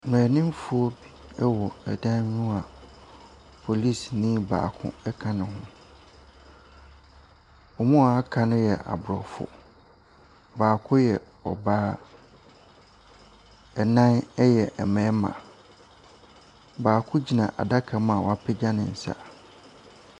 Mmeranimfo ɛwɔ dan bi mu a polisini baako ɛka ne ho. Wɔn a aka no yɛ Aborɔfo. Baako yɛ ɔbaa, nnan ɛyɛ mmarima. Baako gyina adaka mu a wapagya ne nsa.